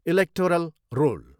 Electoral roll.